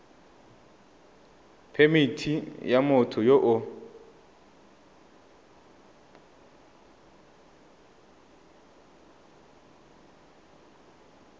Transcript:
phemithi ya motho yo o